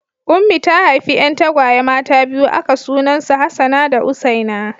Ummi ta haifi 'yan tagwaye mata biyu aka sunan su Hassana da Husseina.